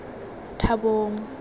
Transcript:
thabong